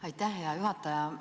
Aitäh, hea juhataja!